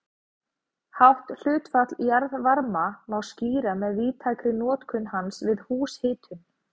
Hátt hlutfall jarðvarma má skýra með víðtækri notkun hans við húshitun.